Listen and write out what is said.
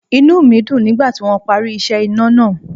Inú mi dùn nígbà tí wọ́n parí iṣẹ́ iná náà.